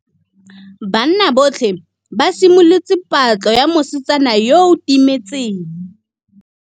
Banna botlhê ba simolotse patlô ya mosetsana yo o timetseng.